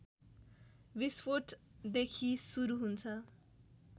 विस्फोटदेखि सुरू हुन्छ